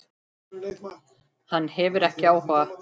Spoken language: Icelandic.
Hann hefur ekki áhuga.